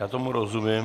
Já tomu rozumím.